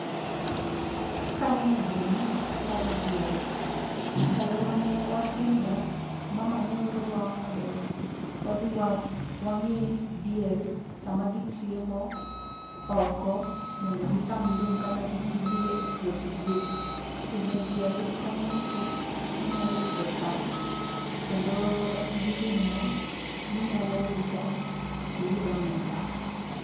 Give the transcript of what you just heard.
Kaneno gini to aparo diel. Ndalo mane watindo, mama ne oro wa mondo wadhi wang'i diel sama gichiemo oko mondo gicham lum kata kik gidhiye puoth ji. Pidho diel konyo nikech inyalo yudo chak kendo en gi ring'o minyalo uso tiyud omenda.